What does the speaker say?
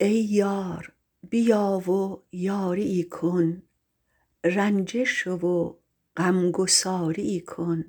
ای یار بیا و یاریی کن رنجه شو و غم گساریی کن